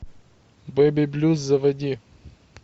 бэби блюз заводи